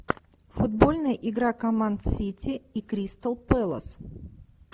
футбольная игра команд сити и кристал пэлас